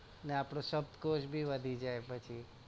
ને આપડો શબ્દ કોશ બી વધી જાય પછી